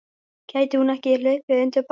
Gæti hún ekki hlaupið undir bagga?